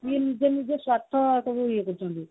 ମୁଁ ନିଜେ ନିଜେ ସତ